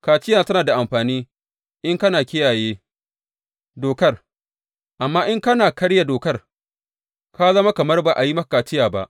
Kaciya tana da amfani in kana kiyaye dokar, amma in kana karya dokar, ka zama kamar ba a yi maka kaciya ba.